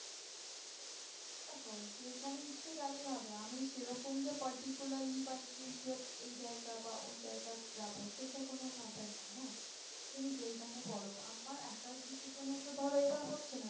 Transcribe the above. দেখো যেখানে ইচ্ছা গেলেই হবে আমি সে রকম যে particularly বা individually এই জায়গা বা ওই জায়গা আমি যাবো সেটা কোনো matter না হ্যাঁ। তুমি যেখানে বলো আমার একার decision এ তো ধরো এবার হচ্ছে না